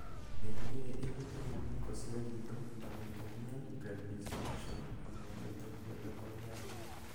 Mĩrimũ ĩrĩa ĩhutagia ngunĩko ya riitho, ta meibomian gland dysfunction, o nayo no ĩtũme maitho kũniara.